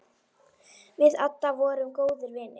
Við Adda vorum góðir vinir.